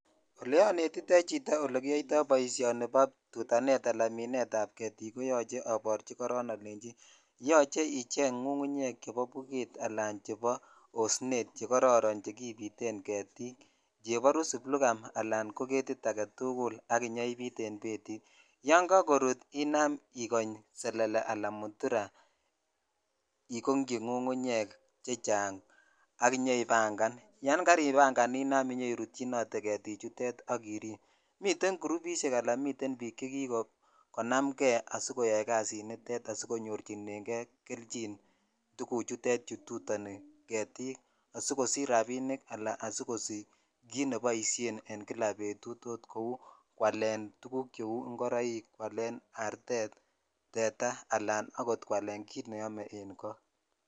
Olekinetitoi ole kiyoitoi boishoni nebo tutanet ab ketik koyoche aboryi ole yoche iche chebo budget ala chebo osnet ko kororon chekibiten getik blugam cheborus ala getik alatugul ak inyoibit en betit yon kakorut ina ikony selelee ala muturaa ikokyi ngungunyek chechang' ak iyoibangan yan karibangan inyoirutyinotee getik chutet ak irib , miten grupishek ala miten bik che kikonam kei koyai kasiniton asikonyochikei kelyin tuguchutet kitutoni getik asikosich rabinik ala asikosich kit neboish en kila betut kou kwalen tuguk cheu ingoroikal kwalen aartet ,tetaaal kwalen kit nemoikyin kei en sobet.